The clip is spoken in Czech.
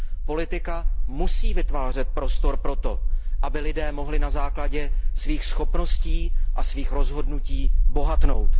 Politika musí vytvářet prostor pro to, aby lidé mohli na základě svých schopností a svých rozhodnutí bohatnout.